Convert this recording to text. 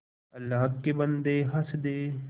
अल्लाह के बन्दे हंस दे